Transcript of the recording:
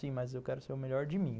Sim, mas eu quero ser o melhor de mim.